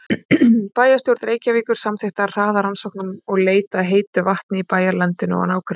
Bæjarstjórn Reykjavíkur samþykkti að hraða rannsóknum og leit að heitu vatni í bæjarlandinu og nágrenni.